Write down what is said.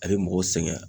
A bɛ mɔgɔw sɛgɛn